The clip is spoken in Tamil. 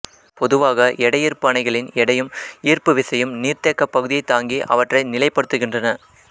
பொதுவாக எடையீர்ப்பு அணைகளின் எடையும் ஈர்ப்பு விசையும் நீர்த்தேக்கப் பகுதியைத் தாங்கி அவற்றை நிலைப்படுத்துகின்றன